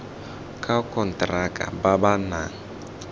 ka konteraka ba ba nang